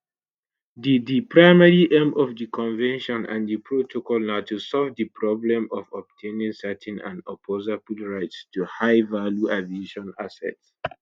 di di primary aim of di convention and di protocol na to solve di problem of obtaining certain and opposable rights to highvalue aviation assets